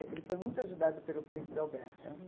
Ele ele foi muito ajudado pelo príncipe Albert.